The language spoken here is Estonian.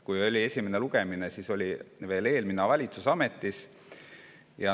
Kui oli esimene lugemine, siis oli veel eelmine valitsus ametis.